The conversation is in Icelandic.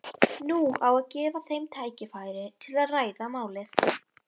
Nú á að gefa þeim tækifæri til að ræða málin.